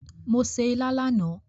Mo se ilá lánàá